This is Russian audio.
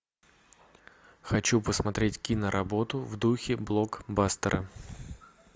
хочу посмотреть киноработу в духе блокбастера